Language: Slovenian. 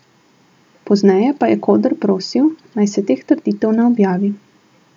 Pozneje pa je Koder prosil, naj se teh trditev ne objavi.